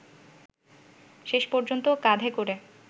শেষ পর্যন্ত কাঁধে করে